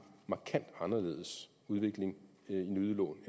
markant anderledes udvikling i nyudlån